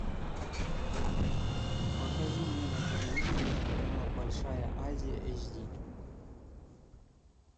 покажи мне на телевизоре телеканал большая азия эйч ди